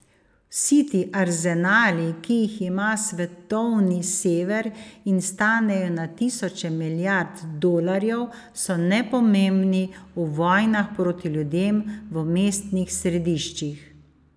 Vsi ti arzenali, ki jih ima svetovni Sever, in stanejo na tisoče milijard dolarjev, so nepomembni v vojnah proti ljudem, v mestnih središčih.